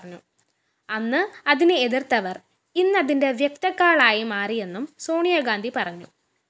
അന്ന് അതിനെ എതിര്‍ത്തവര്‍ ഇന്നതിന്റെ വ്യക്തക്കാളായിമാറിയെന്നും സോണിയഗാന്ധി പറഞ്ഞു